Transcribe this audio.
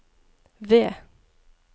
V